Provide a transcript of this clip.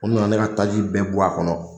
U nana ne ka taaji bɛɛ bɔ a kɔnɔ.